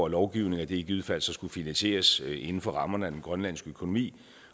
lovgivningen at det i givet fald skulle finansieres inden for rammerne af den grønlandske økonomi